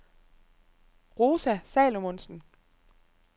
Rosa Salomonsen